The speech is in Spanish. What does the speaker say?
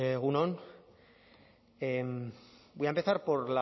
egun on voy a empezar